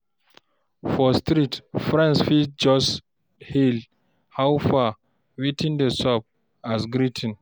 For street, friends fit just hail, "How far? Wetin dey sup?" as greeting.